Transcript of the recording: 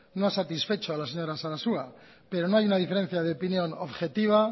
no ha satisfecho a la señora sarasua pero no hay una diferencia de opinión objetiva